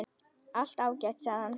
Allt ágætt, sagði hann.